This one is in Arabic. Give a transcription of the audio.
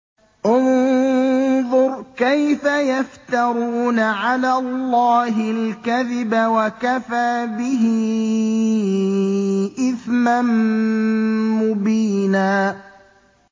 انظُرْ كَيْفَ يَفْتَرُونَ عَلَى اللَّهِ الْكَذِبَ ۖ وَكَفَىٰ بِهِ إِثْمًا مُّبِينًا